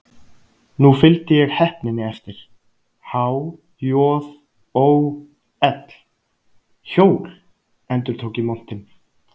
Nú fylgdi ég heppninni eftir: há-joð-ó-ell: hjól, endurtók ég montinn.